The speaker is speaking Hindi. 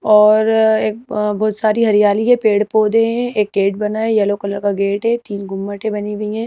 और एक बहुत सारी हरियाली है पेड़ पौधे हैं एक गेट बना है यलो कलर का गेट है तीन गुम्मटें बनी हुई हैं।